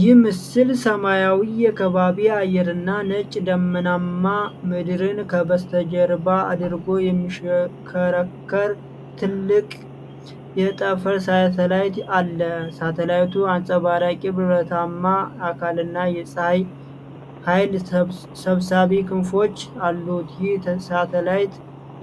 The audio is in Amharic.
ይህ ምስል ሰማያዊውን የከባቢ አየርና ነጭ ደመናማ ምድርን ከበስተጀርባ አድርጎ የሚሽከረከር ትልቅ የጠፈር ሳተላይት አለ። ሳተላይቱ አንጸባራቂ ብረታማ አካልና የፀሐይ ኃይል ሰብሳቢ ክንፎች አሉት። ይህ ሳተላይት